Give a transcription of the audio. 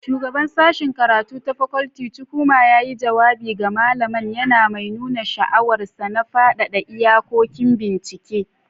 shugabar Sashen karatu ta fakulty Chukwuma yayi jawabi ga malaman, yana mai nuna sha'awarsa na fadada iyakokin bincike.